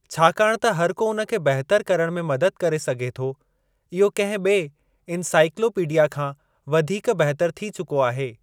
छाकाणि त हरिको उन खे बहितर करणु में मदद करे सघे थो। इहो कंहिं ॿिऐ इनसाईकलोपीडया खां वधीक बहितर थी चुको आहे।